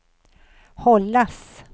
hållas